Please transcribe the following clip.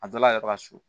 A dɔ la yɛrɛ ka su